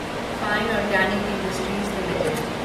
fine Organic Industries limited